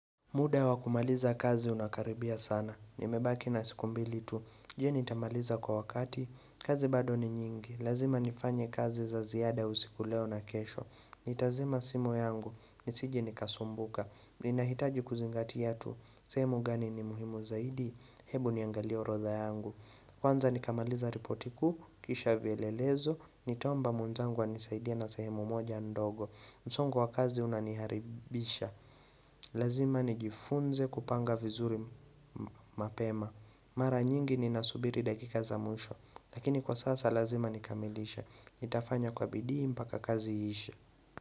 Muda wa kumaliza kazi unakaribia sana. Nimebaki na siku mbili tu. Je nitamaliza kwa wakati. Kazi bado ni nyingi. Lazima nifanye kazi za ziada usiku leo na kesho. Nitazima simu yangu. Nisije nikasumbuka. Ninahitaji kuzingatia tu. Sehemu gani ni muhimu zaidi. Hebu niangalie orodha yangu. Kwanza nikamaliza ripotiku. Kisha vyelelezo. Nitaomba mwenzangu anisaidie na sehemu moja ndogo. Msongo wa kazi unaniharibisha. Lazima nijifunze kupanga vizuri mapema Mara nyingi ni nasubiri dakika za mwisho Lakini kwa sasa lazima nikamilishe nitafanya kwa bidii mpaka kazi iishe.